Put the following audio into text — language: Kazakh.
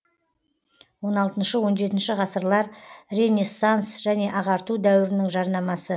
он алты он жетінші ғасырлар ренессанс және ағарту дәуірінің жарнамасы